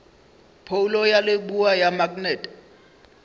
phoulo ya leboa ya maknete